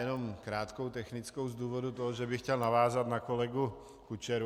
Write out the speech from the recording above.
Jen krátkou technickou z důvodu toho, že bych chtěl navázat na kolegu Kučeru.